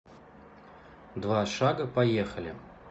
два шага поехали